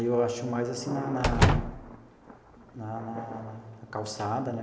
Eu acho mais assim na na na na na calçada né.